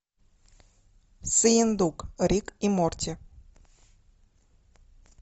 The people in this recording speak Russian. сыендук рик и морти